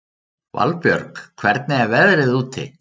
Valbjörg, hvernig er veðrið úti?